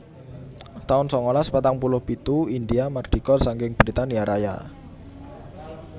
taun sangalas patang puluh pitu Indhia mardika saking Britania Raya